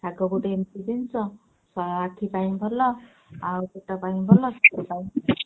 ଶାଗ ଗୋଟେ ଏମିତି ଜିନିଷ ଅ~ ଆଖି ପାଇଁ ଭଲ ଆଉ ପେଟ ପାଇଁ ଭଲ